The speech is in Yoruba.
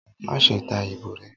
Maṣe ta ibo rẹ!